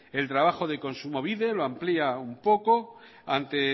el trabajo de kontsumobide lo amplía un poco ante